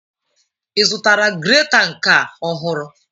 Ị zụtara greta nke a ọhụrụ?